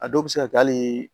A dɔw bɛ se ka kɛ hali